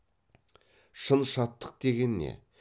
шын шаттық деген не